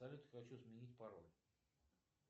салют хочу сменить пароль